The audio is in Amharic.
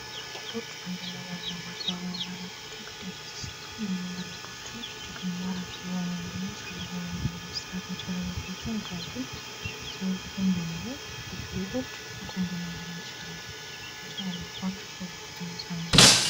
ጌጤጌጦች አንድን ለማስዋብ ነዉ እና አላምችን ግዴታ ሲሰሩ ምን መሆን አለባቸዉ? እጅግ ማራኪ እና ሳቢ በሆነ መሆን መሰራት መቻል አለባቸዉ።